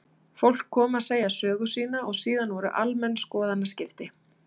Fólk kom að segja sögu sína og síðan voru almenn skoðanaskipti.